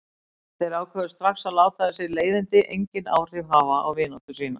Þeir ákváðu strax að láta þessi leiðindi engin áhrif hafa á vináttu sína.